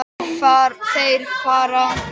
Þeir fara.